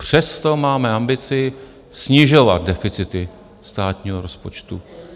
Přesto máme ambici snižovat deficity státního rozpočtu.